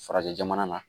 Farajɛ jamana na